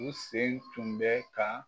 U sen tun bɛ ka.